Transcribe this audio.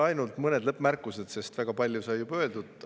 Ainult mõned lõppmärkused, sest väga palju sai juba öeldud.